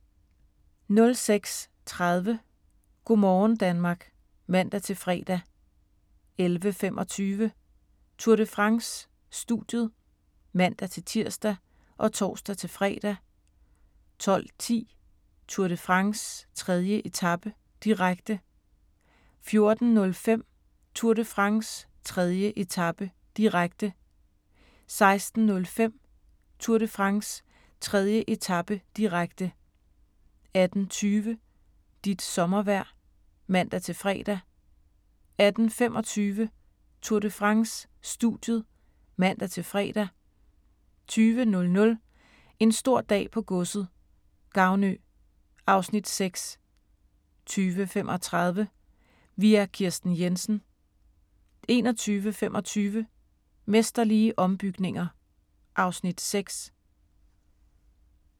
06:30: Go' morgen Danmark (man-fre) 11:25: Tour de France: Studiet (man-tir og tor-fre) 12:10: Tour de France: 3. etape, direkte 14:05: Tour de France: 3. etape, direkte 16:05: Tour de France: 3. etape, direkte 18:20: Dit sommervejr (man-fre) 18:25: Tour de France: Studiet (man-fre) 20:00: En stor dag på godset - Gavnø (Afs. 6) 20:35: Vi er Kirsten Jensen 21:25: Mesterlige ombygninger (Afs. 6)